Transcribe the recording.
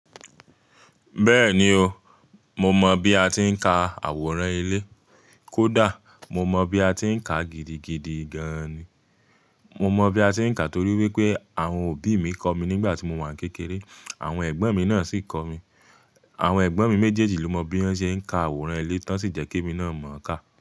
Bẹ́ẹ̀ni o, mo mọ bí a ti ń ka àwòrán ilé. Kódà mo mọ bí a ti ń ka gidigidi gan-an ni. Mo mọ bí a ti ń ka torí wípé àwọn òbí mi kọ́ mi nígbà tí mo wà kékeré. Àwọn ẹ̀gbọ́n mi náà sì kọ́ mi. Àwọn ẹ̀gbọ́n mi méjèèjì ló mọ bí wón ṣe ń ka àwòrán ilé tó ṣì jẹ́ kí èmi náà mọ ka.